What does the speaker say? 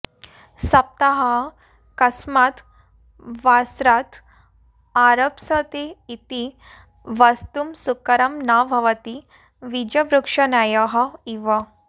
सप्ताहः कस्मात् वासरात् आरप्स्यते इति वक्तुं सुकरं न भवति वीजवृक्षन्यायः इव